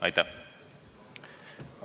Aitäh!